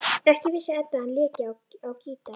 Ekki vissi Edda að hann léki á gítar.